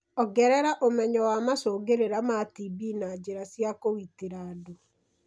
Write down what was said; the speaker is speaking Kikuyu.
Ongerera ũmenyo wa macungĩrĩra ma TB na njĩra cia kũgitira andũ.